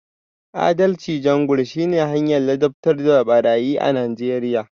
Adalci Jungle shine hanyar ladabtar da barayi a Najeriya